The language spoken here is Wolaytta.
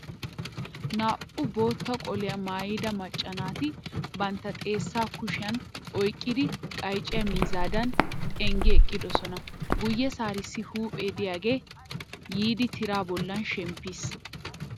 Naa"u bootta qoliya maayida macca naati bantta xeessaa kushiyan oyqqidi qayciya miizzadan xenggi eqqidosona. Guyyessaarissi huuphee diyagee yiidi tiraa bollan shemppiis.